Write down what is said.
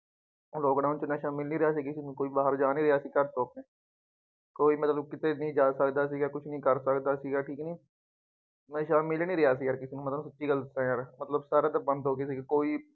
ਹੁਣ ਲਾਕਡਾਊਨ ਚ ਨਸ਼ਾ ਮਿਲ ਨਹੀਂ ਰਿਹਾ ਸੀਗਾ ਕਿਸੇ ਨੂੰ ਕੋਈ ਬਾਹਰ ਜਾ ਨਹੀਂ ਰਿਹਾ ਸੀਗਾ, ਕੋਈ ਮਤਲਬ ਕਿਤੇ ਵੀ ਜਾ ਸਕਦਾ ਸੀਗਾ, ਕੁੱਛ ਨਹੀਂ ਕਰ ਸਕਦਾ ਸੀਗਾ, ਠੀਕ ਕਿ ਨਹੀਂ, ਨਸ਼ਾ ਮਿਲ ਨਹੀਂ ਰਿਹਾ ਸੀਗਾ ਕਿਸੇ ਨੂੰ, ਮੈਂ ਤੁਹਾਨੂੰ ਸੱਚੀ ਗੱਲ ਦੱਸਾਂ ਯਾਰ ਮਤਲਬ ਸਾਰਾ ਕੁੱਛ ਬੰਦ ਹੋ ਗਿਆ ਸੀ ਕੋਈ